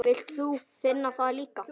Vilt þú finna það líka?